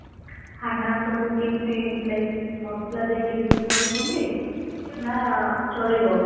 ଖାନା ସବୁ କେମିତି like ମସଲା ଦେଇକି ବେଶୀ କରୁଛନ୍ତି ନା ଚଳିବ?